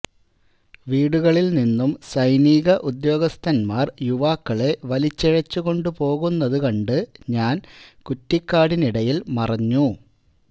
വീടുകളിൽ നിന്നും സൈനിക ഉദ്യോഗസ്ഥന്മാർ യുവാക്കളെ വലിച്ചിഴച്ചുകൊണ്ട് പോകുന്നത് കണ്ടു ഞാൻ കുറ്റിക്കാടിനിടയിൽ മറഞ്ഞു